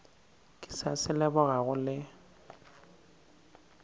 ke sa se lebogago le